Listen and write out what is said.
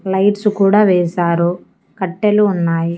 Lights కూడా వేశారు కట్టెలు ఉన్నాయి.